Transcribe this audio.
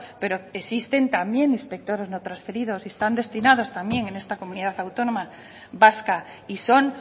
pero existen también inspectores no transferidos y están destinados también en esta comunidad autónoma vasca y son